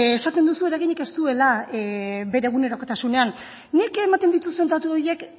bueno esaten duzu eraginik ez duela bere egunerokotasunean nik ematen dituzun datu horiek